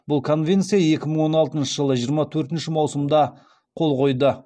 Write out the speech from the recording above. бұл конвенция екі мың он алтыншы жылы жиырма төртінші маусымда қол қойды